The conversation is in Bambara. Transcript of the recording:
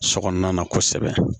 So kɔnɔna na kosɛbɛ